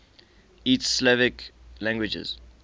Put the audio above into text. east slavic languages